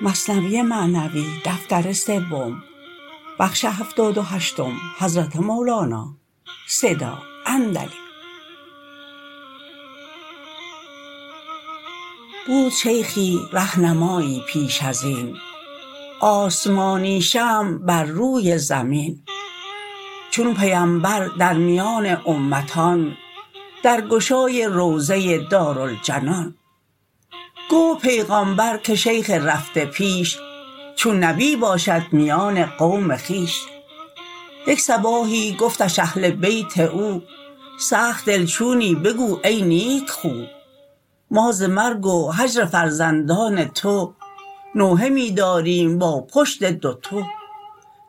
بود شیخی رهنمایی پیش ازین آسمانی شمع بر روی زمین چون پیمبر درمیان امتان در گشای روضه دار الجنان گفت پیغامبر که شیخ رفته پیش چون نبی باشد میان قوم خویش یک صباحی گفتش اهل بیت او سخت دل چونی بگو ای نیک خو ما ز مرگ و هجر فرزندان تو نوحه می داریم با پشت دوتو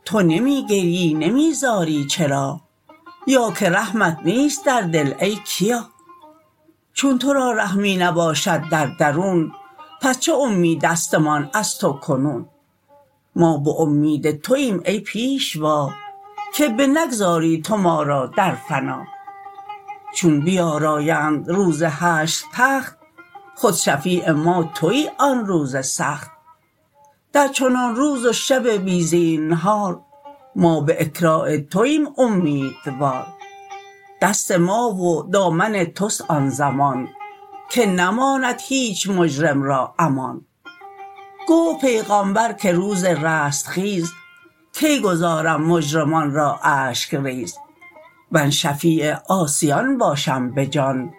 تو نمی گریی نمی زاری چرا یا که رحمت نیست در دل ای کیا چون تورا رحمی نباشد در درون پس چه اومیدست مان از تو کنون ما باومید تویم ای پیشوا که بنگذاری تو ما را در فنا چون بیارایند روز حشر تخت خود شفیع ما توی آن روز سخت در چنان روز و شب بی زینهار ما به اکرام تویم اومیدوار دست ما و دامن تست آن زمان که نماند هیچ مجرم را امان گفت پیغامبر که روز رستخیز کی گذارم مجرمان را اشک ریز من شفیع عاصیان باشم بجان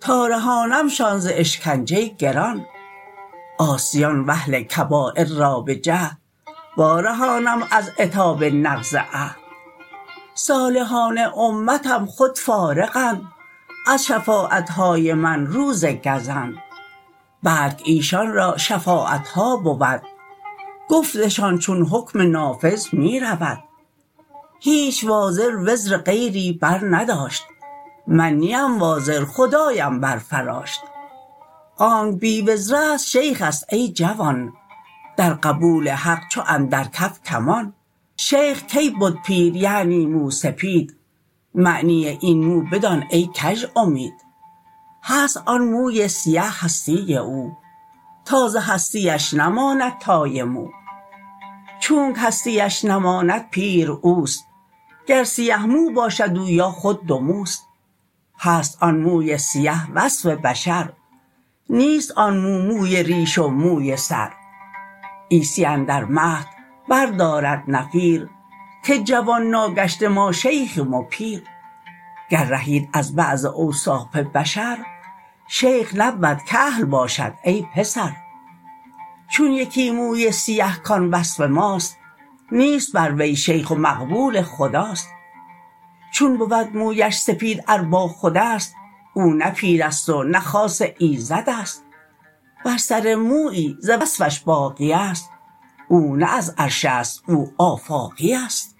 تا رهانمشان ز اشکنجه گران عاصیان واهل کبایر را بجهد وا رهانم از عتاب نقض عهد صالحان امتم خود فارغ اند از شفاعتهای من روز گزند بلک ایشان را شفاعتها بود گفتشان چون حکم نافذ می رود هیچ وازر وزر غیری بر نداشت من نیم وازر خدایم بر فراشت آنک بی وزرست شیخست ای جوان در قبول حق چو اندر کف کمان شیخ کی بد پیر یعنی مو سپید معنی این مو بدان ای کژ امید هست آن موی سیه هستی او تا ز هستی اش نماند تای مو چونک هستی اش نماند پیر اوست گر سیه مو باشد او یا خود دوموست هست آن موی سیه وصف بشر نیست آن مو موی ریش و موی سر عیسی اندر مهد بر دارد نفیر که جوان ناگشته ما شیخیم و پیر گر رهید از بعض اوصاف بشر شیخ نبود کهل باشد ای پسر چون یکی موی سیه کان وصف ماست نیست بر وی شیخ و مقبول خداست چون بود مویش سپید ار با خودست او نه پیرست و نه خاص ایزدست ور سر مویی ز وصفش باقیست او نه از عرش است او آفاقیست